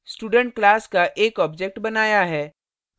इस प्रकार हमने student class का एक object बनाया है